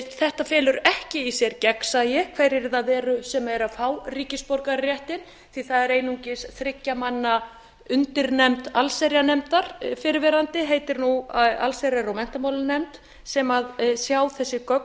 þetta felur ekki í sér gegnsæi hverjir það eru sem eru að fá ríkisborgararéttinn því það er einungis þriggja manna undirnefnd allsherjarnefndar fyrrverandi heitir nú allsherjar og menntamálanefnd sem sjá þessi gögn